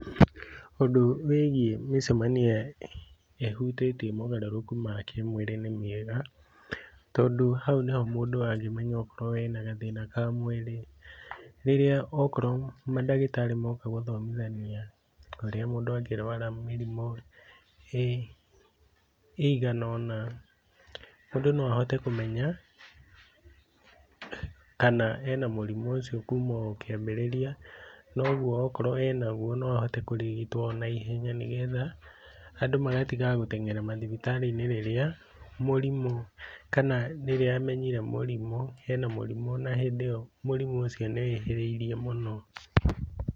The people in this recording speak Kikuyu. Ũndũ wĩgĩĩ mĩcemanio ĩhutĩtie mogarũrũku ma kĩmwĩrĩ nĩ mĩega, tondũ hau nĩho mũndũ angĩmenya okorwo ena gathĩna ka mwĩrĩ rĩrĩa okorwo mandagĩtarĩ moka gũthomithania ũrĩa mũndũ angĩrwara mĩrimũ ĩigana ona, mũndũ no ahote kũmenya kana ena mũrimũ ũcio kũma o kĩambĩrĩria, noguo okorwo enaguo no ahote kũrigitwo ona ihenya, nĩgetha andũ magatigaga gũteng'era mathibitari-inĩ rĩrĩa mũrimũ, kana rĩrĩa amenyire ena mũrimũ, na hĩndĩ ĩyo mũrimũ ũcio nĩ wĩhĩrĩirie mũno.